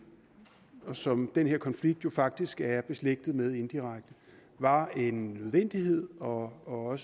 og som den her konflikt jo faktisk er beslægtet med indirekte var en nødvendighed og og at